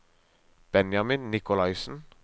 Benjamin Nicolaisen